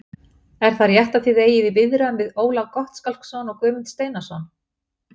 Er það rétt að þið eigið í viðræðum við Ólaf Gottskálksson og Guðmund Steinarsson?